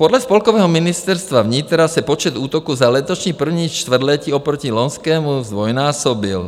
Podle spolkového Ministerstva vnitra se počet útoků za letošní první čtvrtletí oproti loňskému zdvojnásobil.